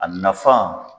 A nafa